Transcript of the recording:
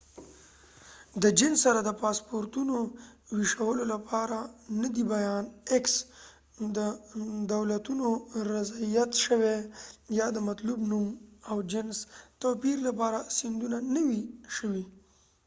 د جنس سره د پاسپورتونو ویشلو لپاره د دولتونو رضایت x نه دی بیان شوی، یا د مطلوب نوم او جنس توپیر لپاره سندونه نوي شوي۔